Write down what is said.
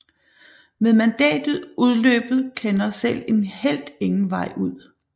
Med mandatet udløbet kender selv en helt ingen vej ud